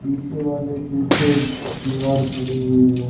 पीछे वाले एक पीछे दीवार खड़ी हुई है।